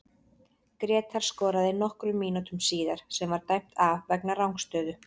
Grétar skoraði nokkrum mínútum síðar sem var dæmt af vegna rangstöðu.